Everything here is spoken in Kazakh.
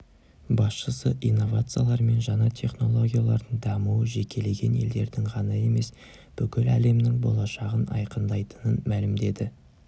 басшысы инновациялар мен жаңа технологиялардың дамуы жекелеген елдердің ғана емес бүкіл әлемнің болашағын айқындайтынын мәлімдеді